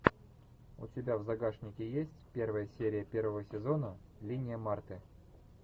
у тебя в загашнике есть первая серия первого сезона линия марты